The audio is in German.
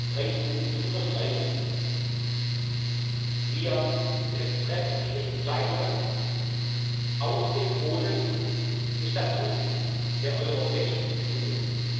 Gestatten Sie mir, drei Punkte zu unterstreichen Wir treffen diese Entscheidungen auf dem Boden des Statuts der Europäischen Union.